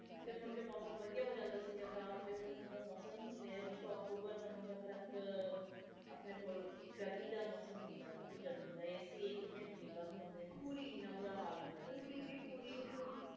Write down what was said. ਤੇ ਮੁੜਕੇ ਮੌਸਮ ਵਧੀਆ ਹੋ ਜਾਂਦਾ ਸੀ ਗਾ ਤਾ ਹੁਣ ਤਾ ਉਹ ਮੌਸਮ ਨਹੀਂ ਰਹੇ ਹੁਣ ਤਾ ਅਕਤੂਬਰ ਨਵੰਬਰ ਤਕ ਆਪਣੇ ਕੋਲ ਗਰਮੀ ਇੱਕ ਮਿੰਟ ਨਹੀਂ ਬੰਦ ਹੁੰਦੇ ਪੂਰੀ ਜੀ ਪੂਰੀ